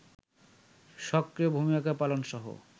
সক্রিয় ভূমিকা পালনসহ